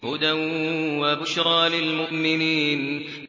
هُدًى وَبُشْرَىٰ لِلْمُؤْمِنِينَ